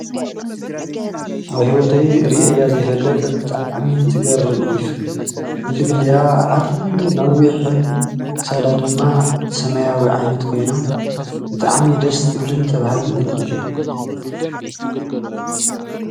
አብ ሂወተይ ሪኤያ ዘይፈልጥ ብጣዕሚ ትገርም ዒፍ ግልግሊኣ ኣዐርዩ ነዊሕን ክሳዳ ድማ ሰማያዊ ዓይነት ኮይና ብጣዕሚ ደስ ትብልን ተብሃጊትን ዒፍ እያ።